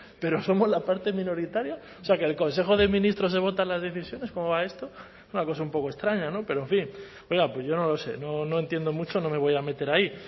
pero somos la parte minoritaria o sea que en el consejo de ministros se votan las decisiones cómo va esto una cosa un poco extraña no pero en fin oiga pues yo no lo sé no entiendo mucho no me voy a meter ahí